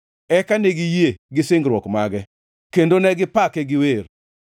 Eka ne giyie gi singruok mage kendo ne gipake gi wer.